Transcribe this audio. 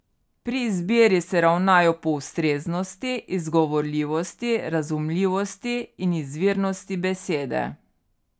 Pri izbiri se ravnajo po ustreznosti, izgovorljivosti, razumljivosti in izvirnosti besede.